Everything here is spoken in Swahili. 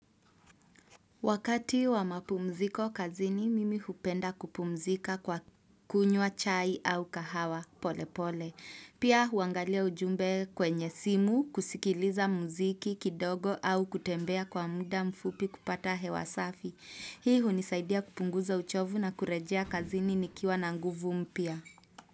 Wakati wa mapumziko kazini, mimi hupenda kupumzika kwa kunywa chai au kahawa pole pole. Pia huangalia ujumbe kwenye simu, kusikiliza muziki kidogo au kutembea kwa muda mfupi kupata hewa safi. Hii hunisaidia kupunguza uchovu na kurejea kazini nikiwa na nguvu mpya.